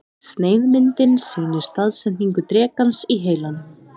Sneiðmyndin sýnir staðsetningu drekans í heilanum.